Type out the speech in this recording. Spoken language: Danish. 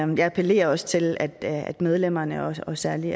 men jeg appellerer også til at at medlemmerne og særlig